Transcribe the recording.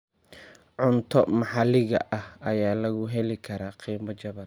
Cunto maxaliga ah ayaa lagu heli karaa qiimo jaban.